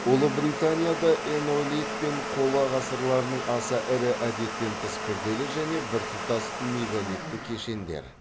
ұлыбританияда энеолит пен қола ғасырларының аса ірі әдеттен тыс күрделі және біртұтас мегалитті кешендер